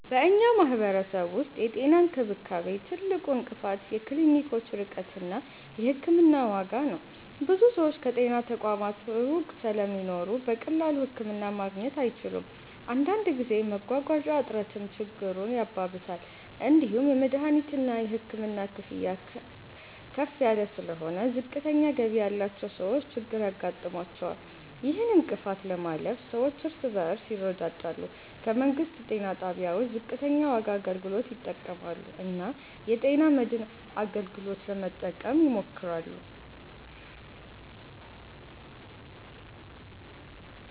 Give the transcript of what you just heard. በእኛ ማህበረሰብ ውስጥ የጤና እንክብካቤ ትልቁ እንቅፋት የክሊኒኮች ርቀት እና የሕክምና ዋጋ ነው። ብዙ ሰዎች ከጤና ተቋማት ሩቅ ስለሚኖሩ በቀላሉ ህክምና ማግኘት አይችሉም። አንዳንድ ጊዜ መጓጓዣ እጥረትም ችግሩን ያባብሳል። እንዲሁም የመድሀኒትና የሕክምና ክፍያ ከፍ ስለሆነ ዝቅተኛ ገቢ ያላቸው ሰዎች ችግር ያጋጥማቸዋል። ይህን እንቅፋት ለማለፍ ሰዎች እርስ በርስ ይረዳዳሉ፣ ከመንግስት ጤና ጣቢያዎች ዝቅተኛ ዋጋ አገልግሎት ይጠቀማሉ እና የጤና መድን አገልግሎትን ለመጠቀም ይሞክራሉ።